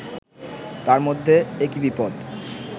তার মধ্যে একি বিপদ